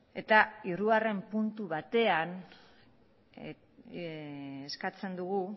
eta hirugarren puntu batean eskatzen dugu